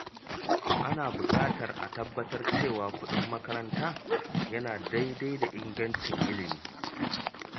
Ana buƙatar a tabbatar cewa kuɗin makaranta yana daidai da ingancin ilimi.